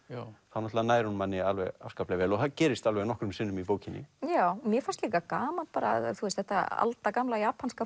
þá náttúrulega nær hún manni afskaplega vel og það gerist alveg nokkrum sinnum í bókinni mér fannst líka gaman þetta aldagamla japanska